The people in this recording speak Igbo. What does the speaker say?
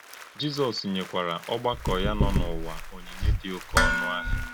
Jízọ́s nyékwará ọ̀gbàkọ́ ya nọ n’ụ́wà onyìnyé dị òké ọnụ́ ahịa.